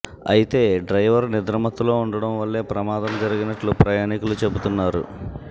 అయితే డ్రైవర్ నిద్రమత్తులో ఉండటం వల్లే ప్రమాదం జరిగినట్లు ప్రయాణికులు చెబుతున్నారు